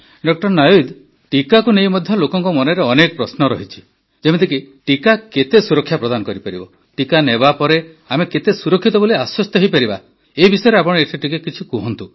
ଡା ନାୱିଦ୍ ଟିକାକୁ ନେଇ ମଧ୍ୟ ଲୋକଙ୍କ ମନରେ ଅନେକ ପ୍ରଶ୍ନ ରହିଛି ଯେମିତିକି ଟିକା କେତେ ସୁରକ୍ଷା ପ୍ରଦାନ କରିପାରିବ ଟିକା ନେବା ପରେ ଆମେ ସୁରକ୍ଷିତ ବୋଲି ଆଶ୍ୱସ୍ତ ହୋଇପାରିବା କି ଏ ବିଷୟରେ ଆପଣ ଏଠାରେ କିଛି କୁହନ୍ତୁ